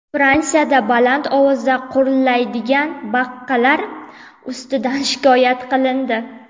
Fransiyada baland ovozda qurillaydigan baqalar ustidan shikoyat qilindi.